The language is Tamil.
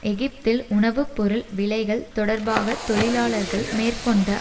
எகிப்தில் உணவு பொருள் விலைகள் தொடர்பாக தொழிலாளர்கள் மேற்கொண்ட